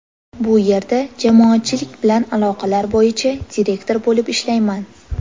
Bu yerda jamoatchilik bilan aloqalar bo‘yicha direktor bo‘lib ishlayman.